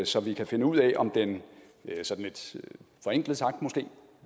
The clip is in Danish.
så vi kan finde ud af om den sådan lidt forenklet sagt måske